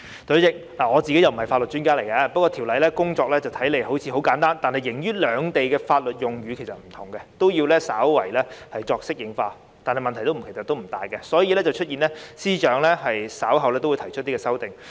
代理主席，我不是法律專家，《條例草案》的工作看似簡單，但礙於兩地的法律用語不同，都要稍為作出適應，但問題並不大，所以就出現了司長稍後提出的修正案。